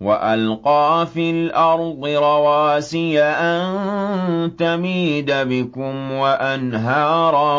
وَأَلْقَىٰ فِي الْأَرْضِ رَوَاسِيَ أَن تَمِيدَ بِكُمْ وَأَنْهَارًا